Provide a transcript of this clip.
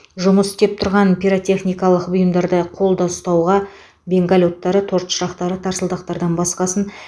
жұмыс істеп тұрған пиротехникалық бұйымдарды қолда ұстауға бенгаль оттары торт шырақтары тарсылдақтардан басқасын